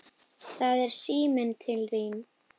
Það er síminn til þín.